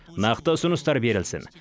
нақты ұсыныстар берілсін